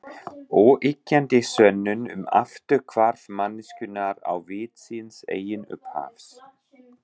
Óyggjandi sönnun um afturhvarf manneskjunnar á vit síns eigin upphafs.